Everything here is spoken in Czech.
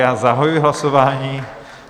Já zahajuji hlasování.